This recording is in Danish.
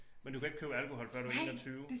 Men du kan ikke købe alkohol før du 21